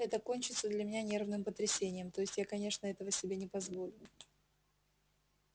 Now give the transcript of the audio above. это кончится для меня нервным потрясением то есть я конечно этого себе не позволю